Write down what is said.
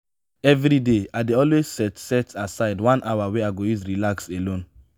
everyday i dey always set set aside one hour wey i go use relax alone.